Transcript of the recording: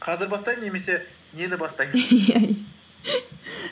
қазір бастаймын немесе нені бастаймын